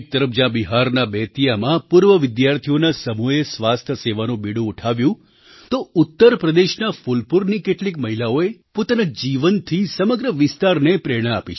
એક તરફ જ્યાં બિહારના બેતિયામાં પૂર્વ વિદ્યાર્થીઓના સમૂહે સ્વાસ્થ્ય સેવાનું બીડું ઉઠાવ્યું તો ઉત્તર પ્રદેશના ફૂલપુરની કેટલીક મહિલાઓએ પોતાના જીવનથી સમગ્ર વિસ્તારને પ્રેરણા આપી છે